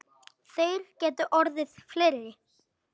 Þeir gætu orðið fleiri.